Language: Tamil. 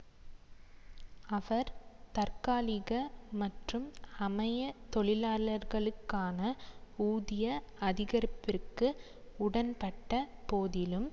அவர் தற்காலிக மற்றும் அமைய தொழிலாளர்களுக்கான ஊதிய அதிகரிப்பிற்கு உடன்பட்ட போதிலும்